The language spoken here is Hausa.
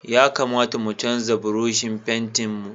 Ya kamata mu canza Burushin fentin mu.